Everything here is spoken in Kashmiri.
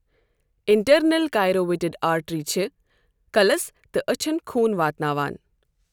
اِنٹرنَل کیروٹِڑ آرٹری چھِ کَلس تہٕ أچھَن خوٗن واتناوان.